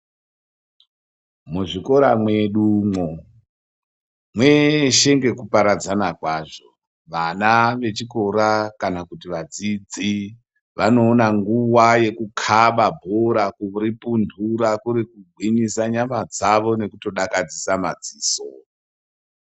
Muzvikora mwedumwo mweshe ngekuparadzana kwazvo. Vana vechikora kana kuti vadzidzi vanoona nguwa yekukhaba bhora kuripunhura kuri kugwinyisa nyama dzawo nekutodakadzisa madziso.